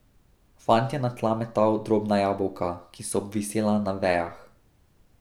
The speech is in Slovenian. Fant je na tla metal drobna jabolka, ki so obvisela na vejah.